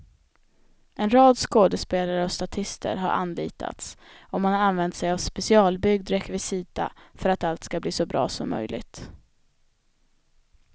En rad skådespelare och statister har anlitats och man har använt sig av specialbyggd rekvisita för att allt ska bli så bra som möjligt.